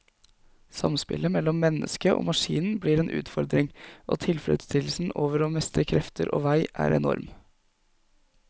Samspillet mellom mennesket og maskinen blir en utfordring, og tilfredsstillelsen over å mestre krefter og vei er enorm.